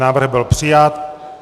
Návrh byl přijat.